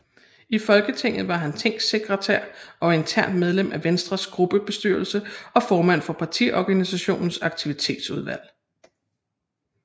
I Folketinget var han tingssekretær og internt medlem af Venstres gruppebestyrelse og formand for partiorganisationens aktivitetsudvalg